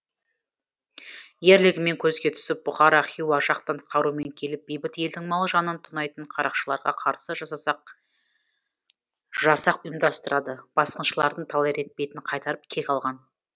ерлігімен көзге түсіп бұхара хиуа жақтан қарумен келіп бейбіт елдің мал жанын тонайтын қарақшыларға қарсы жасақ ұйымдастырады басқыншылардың талай рет бетін қайтарып кек алған